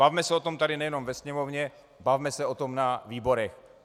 Bavme se o tom tady, nejenom ve sněmovně, bavme se o tom na výborech.